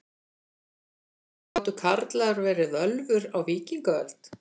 Gátu karlar verið völvur á víkingaöld?